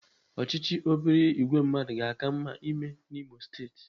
Ọchịchị obere ìgwè mmadụ ga-aka mma ime n'Imo steeti.